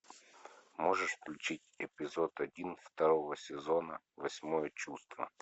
можешь включить эпизод один второго сезона восьмое чувство